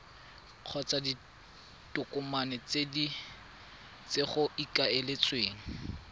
kgotsa ditokomane tse go ikaeletsweng